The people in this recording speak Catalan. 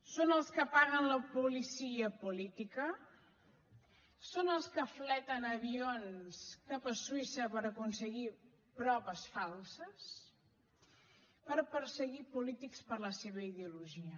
són els que paguen la policia política són els que noliegen avions cap a suïssa per aconseguir proves falses per perseguir polítics per la seva ideologia